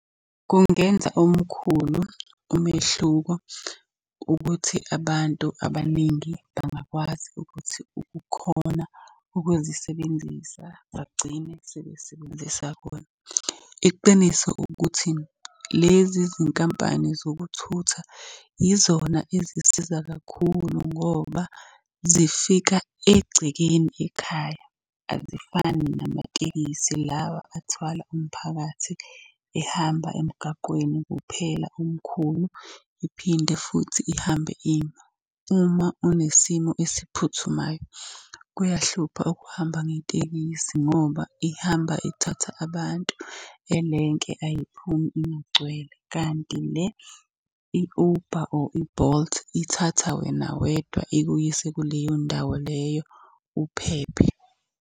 Kungenza omkhulu umehluko ukuthi abantu abaningi bangakwazi ukuthi ukukhona ukuzisebenzisa bagcine sebesebenzisa khona. Iqiniso ukuthi, lezi zinkampani zokuthutha yizona ezisiza kakhulu ngoba zifika egcekeni ekhaya, azifani namatekisi lawa athwala umphakathi ehamba emgaqweni kuphela omkhulu iphinde futhi ihambe ima. Uma unesimo esiphuthumayo kuyahlupha ukuhamba ngetekisi ngoba ihamba thatha abantu elenke ayiphumi ingagcwele. Kanti le i-Uber or i-Bolt ithatha wena wedwa ikuyise kuleyo ndawo leyo uphephe.